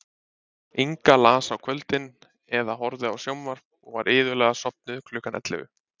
Inga las á kvöldin eða horfði á sjónvarp og var iðulega sofnuð klukkan ellefu.